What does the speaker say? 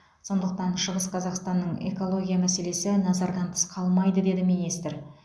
сондықтан шығыс қазақстанның экология мәселесі назардан тыс қалмайды деді министр